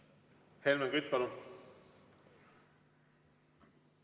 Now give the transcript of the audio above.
Helmen Kütt, palun!